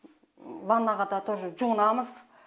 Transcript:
ваннаға да тоже жуынамыз